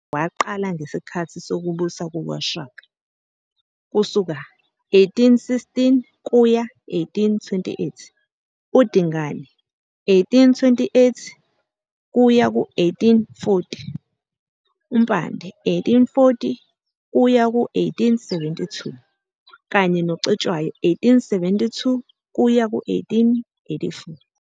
Impilo nomsebenzi kaSigananda kaZokufa waqala ngesikhathi sokubusa kukaShaka, 1816 - 1828, Dingane, 1828 - 1840, Mpande, 1840 - 1872, kanye noCetshwayo, 1872 - 1884,.